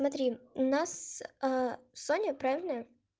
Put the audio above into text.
смотри у нас аа соня правильно